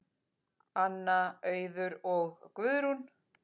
Anna, Auður og Guðrún.